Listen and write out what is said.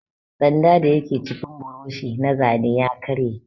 Sanda dayake cikin buroshi na zane ya karye.